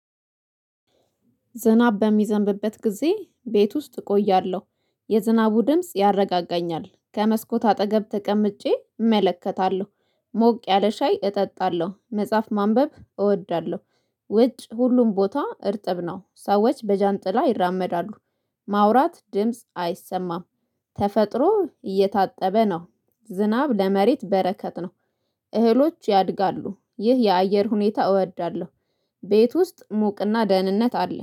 ዝናብ በሚዘንብበት ጊዜ ቤት ውስጥ እቆያለሁ የዝናቡ ድምጽ ያረጋጋኛል ከመስኮት አጠገብ ተቀምጬ እመለከታለሁ ሞቅ ያለ ሻይ እጠጣለሁ መጽሐፍ ማንበብ እወዳለሁ። ውጭ ሁሉም ቦታ እርጥብ ነው። ሰዎች በጃንጥላ ይራመዳሉ። ማውራት ድምጽ አይሰማም። ተፈጥሮ እየታጠበ ነው ዝናብ ለመሬት በረከት ነው። እህሎች ያድጋሉ ይህ የአየር ሁኔታ እወዳለሁ። ቤት ውስጥ ሙቅና ደህንነት አለ